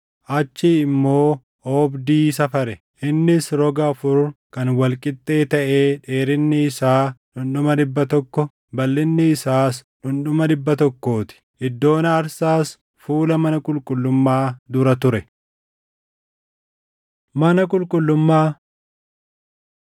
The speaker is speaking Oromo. Achii immoo oobdii safare; innis roga afur kan wal qixxee taʼee dheerinni isaa dhundhuma dhibba tokko, balʼinni isaas dhundhuma dhibba tokkoo ti. Iddoon aarsaas fuula mana qulqullummaa dura ture. Mana Qulqullummaa